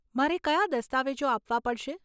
મારે કયા દસ્તાવેજો આપવા પડશે?